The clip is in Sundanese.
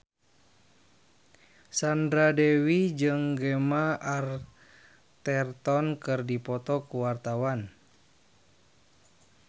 Sandra Dewi jeung Gemma Arterton keur dipoto ku wartawan